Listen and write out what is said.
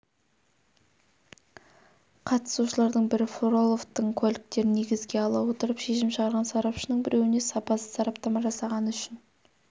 қатысушылардың бірі фроловтың куәліктерін негізге ала отырып шешім шығарған сарапшының біреуіне сапасыз сараптама жасағаны үшін